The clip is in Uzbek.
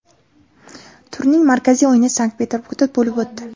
Turning markaziy o‘yini Sankt-Peterburgda bo‘lib o‘tdi.